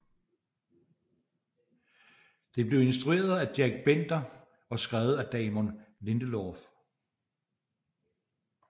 Det blev instrueret af Jack Bender og skrevet af Damon Lindelof